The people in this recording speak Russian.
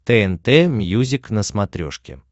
тнт мьюзик на смотрешке